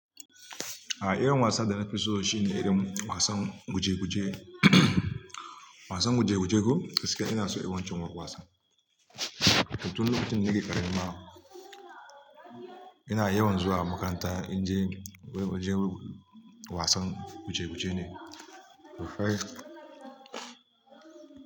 A'a, irin wasan da na fi so shine irin wasan guje-guje. Wasan guje-guje ko gaskiya ina so irin wancin wasan. Tun lokacin da nake ƙarami ina yawan zuwa makaranta in je wurin wasan guje-guje ne.